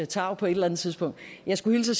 tarv på et eller andet tidspunkt jeg skulle hilse